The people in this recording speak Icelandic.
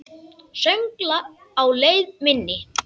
Söngla á leið minni.